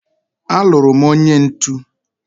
aluru m onye ntu